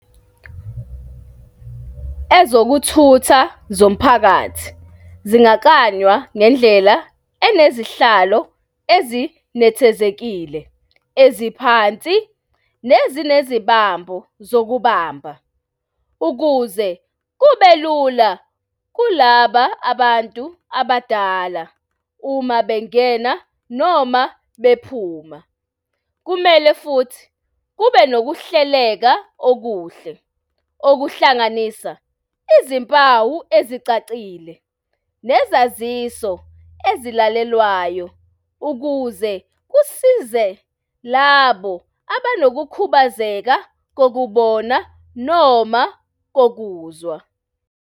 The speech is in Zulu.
Ezokuthutha zomphakathi zingakanywa ngendlela enezihlalo ezinethezekile eziphansi nezinezibambo zokubamba ukuze kube lula kulaba abantu abadala uma bengena noma bephuma. Kumele futhi kube nokuhleleka okuhle okuhlanganisa izimpawu ezicacile nezaziso ezilalelwayo ukuze kusize labo abanokukhubazeka kokubona noma kokuzwa.